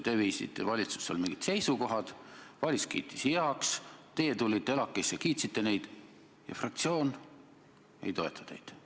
Te viisite valitsusse mingid seisukohad, valitsus kiitis need heaks, teie tulite ELAK-isse ja kiitsite neid, aga fraktsioon ei toeta teid.